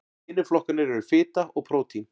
hinir flokkarnir eru fita og prótín